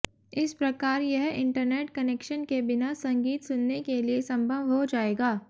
इस प्रकार यह इंटरनेट कनेक्शन के बिना संगीत सुनने के लिए संभव हो जाएगा